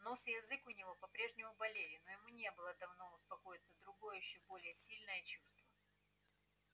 нос и язык у него по прежнему болели но ему не давало успокоиться другое ещё более сильное чувство